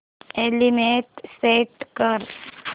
alarm set कर